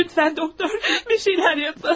Lütfən doktor, bir şeylər yapın.